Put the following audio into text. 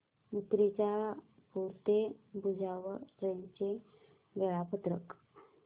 मूर्तिजापूर ते भुसावळ ट्रेन चे वेळापत्रक